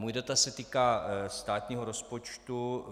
Můj dotaz se týká státního rozpočtu.